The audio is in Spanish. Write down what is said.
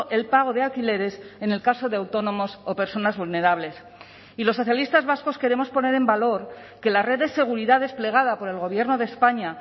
el pago de alquileres en el caso de autónomos o personas vulnerables y los socialistas vascos queremos poner en valor que la red de seguridad desplegada por el gobierno de españa